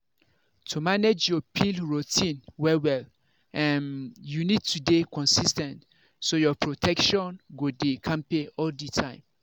to manage your pill routine well-well um you need to dey consis ten t so your protection go dey kampe all the time.